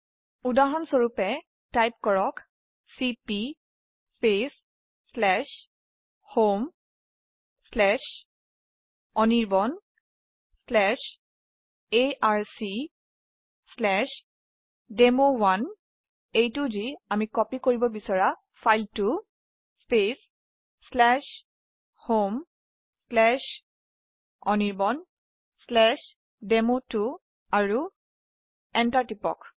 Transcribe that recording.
উদাহৰণস্বৰুপে লিখক চিপি homeanirbanarcdemo1homeanirbandemo2 আৰুএন্টাৰ টিপক